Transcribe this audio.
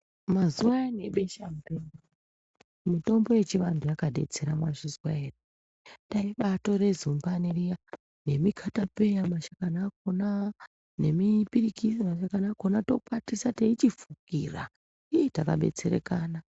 Mazuva ayani ebeshamupengo mutombo yechiantu yakadetsera mwazvizwa ere, taibatore zumbani riya nemikatapeya mashakani akona nemipirikisi mashakani akona tokwatisa teichifukira, ih takadetsereka